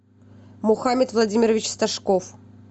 мухамед владимирович стажков